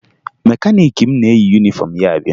Mekaniiki m na-eyi yunifọmụ ya abịa